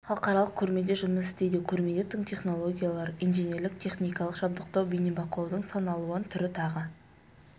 халықаралық көрме де жұмыс істейді көрмеде тың технологиялар инженерлік-техникалық жабдықтау бейнебақылаудың сан алуан түрі тағы